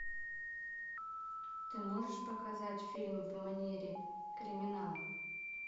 ты можешь показать фильм в манере криминала